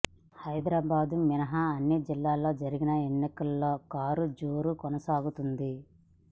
హైదరాబాద్ మినహా అన్ని జిల్లాల్లో జరిగిన ఎన్నికల్లో కారు జోరు కొనసాగుతోంది